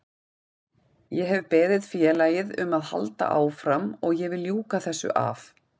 Ég hef beðið félagið um að halda áfram og ég vil ljúka þessu af.